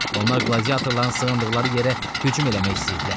Onlar qladiyatorların sığındıqları yerə hücum eləmək istəyirdilər.